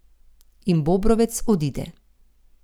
In Bobrovec odide.